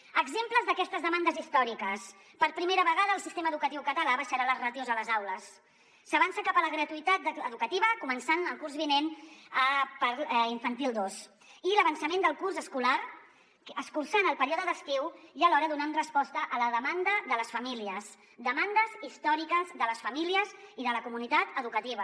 exemples d’aquestes demandes històriques per primera vegada el sistema edu·catiu català abaixarà les ràtios a les aules s’avança cap a la gratuïtat educativa co·mençant el curs vinent per infantil dos i l’avançament del curs escolar escurçant el període d’estiu i alhora donant resposta a la demanda de les famílies demandes històriques de les famílies i de la comunitat educativa